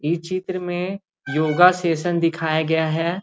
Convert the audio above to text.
इ चित्र में योगा सेशन दिखाया गया है।